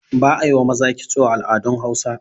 ba a yi wa maza kitso a al'adun Hausawa